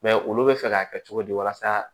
Mɛ olu bɛ fɛ k'a kɛ cogo di walasa